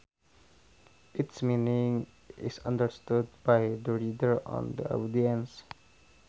Its meaning is understood by the reader or the audience